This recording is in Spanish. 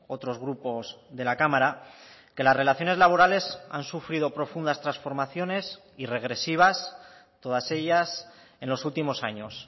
otros grupos de la cámara que las relaciones laborales han sufrido profundas transformaciones y regresivas todas ellas en los últimos años